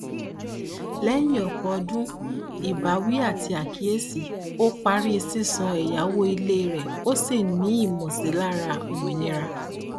lẹyìn ọpọ ọdún ìbáwí àti àkíyèsí ó parí sísanwó ẹyáwó ilé rẹ ó sì ní ìmọsílára òmìnira